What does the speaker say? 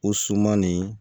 O suman nin